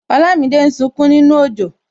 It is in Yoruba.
Olamide ń sunkún nínú ojo